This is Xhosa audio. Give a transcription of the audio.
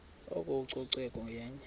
oko ucoceko yenye